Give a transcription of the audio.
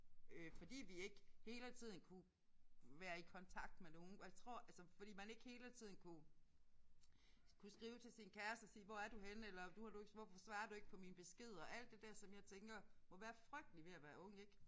Øh fordi vi ikke hele tiden kunne være i kontakt med nogen og jeg tror altså fordi man ikke hele tiden kunne kunne skrive til sin kæreste og sige hvor er du henne eller nu har du ikke hvorfor svarer du ikke på mine beskeder alt det der som jeg tænker må være frygteligt ved at være ung ik